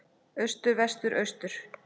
Austur Vestur Austur